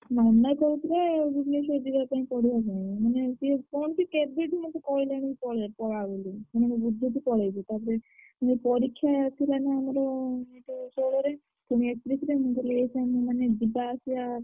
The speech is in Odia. ମାମା କହୁଥିଲେ ଭୁବନେଶ୍ବର ଯିବା ପାଇଁ ପଢିବା ପାଇଁ ମାନେ ସିଏ କଣ କି କେବେବି ମତେ କହିଲାଣି ପଳା ପଳା ବୋଲି ମାନେ ମୁଁ ବୁଝୁଛି ପଳେଇବୁ ମୁଁ କହିଲି ଏଇ ସମୟରେ ମାନେ ଯିବା ଆସିଆ।